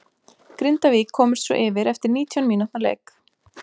Grindavík komust svo yfir eftir nítján mínútna leik.